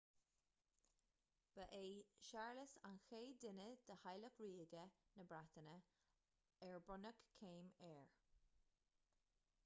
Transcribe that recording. ba é séarlas an chéad duine de theaghlach ríoga na breataine ar bronnadh céim air